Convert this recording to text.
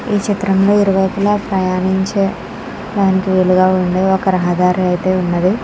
ఈ చిత్రంలో ఇరువైపులా ప్రయాణించే దానికి విలుగా ఉండే ఒక రహదారి అయితే ఉన్నది.